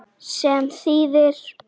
Sem þýðir?